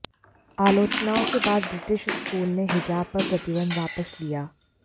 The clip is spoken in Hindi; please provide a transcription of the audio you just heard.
आलोचनाओं के बाद ब्रिटिश स्कूल ने हिजाब पर प्रतिबंध वापस लिया